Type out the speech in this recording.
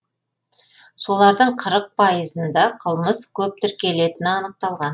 солардың қырық пайызында қылмыс көп тіркелетіні анықталған